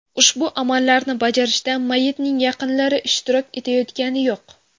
Ushbu amallarni bajarishda mayyitning yaqinlari ishtirok etayotgani yo‘q.